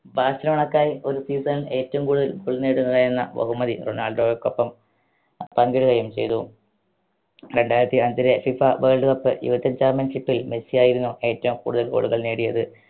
ബാഴ്‌സലോണക്കായി ഒരു season ൽ ഏറ്റവും കൂടുതൽ goal നേടുക എന്ന ബഹുമതി റൊണാൾഡോയ്‌ക്കൊപ്പം പങ്കിടുകയും ചെയ്തു രണ്ടായിരത്തി അഞ്ചിലെ FIFA world cup championship ൽ മെസ്സിയായിരുന്നു ഏറ്റവും കൂടുതൽ goal കൾ നേടിയത്